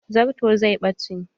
Zarton zai ɓace.